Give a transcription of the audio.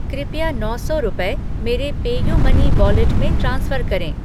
कृपया नौ सौ रुपये मेरे पेयूमनी वॉलेट में ट्रांसफ़र करें।